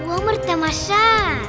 өмір тамаша